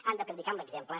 han de predicar amb l’exemple